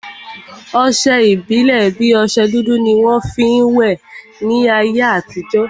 Ọsẹ ìbílè bi ọsẹ dúdú ni wọn fi ń will láyé àtijọ́